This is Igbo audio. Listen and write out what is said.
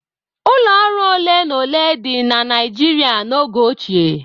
Ụlọ ọrụ ole na ole dị na Naịjiria n'oge ochie.